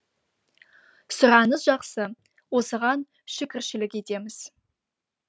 сұраныс жақсы осыған шүкіршілік етеміз